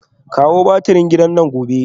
Kawo batirin gidana gobe